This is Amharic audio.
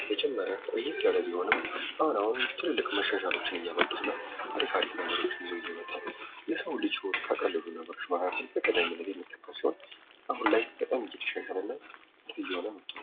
በመጀመሪያ ቆየት ያለ ቢሆንም አሁን አሁን ትልልቅ መሻሻሎችን ነው አሪፍ አሪፍ ነገሮችን ይዞ እየመጣ የሰው ልጅ ህይወት ካቀለሉ ነገሮች መሃል ውስጥ በቀዳሚነት የሚነሳ ሲሆን አሁን ላይ በጣም እየተሻሻለ ና ጥሩ እየሆነ መጥቷል።